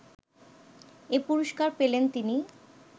এ পুরস্কার পেলেন তিনি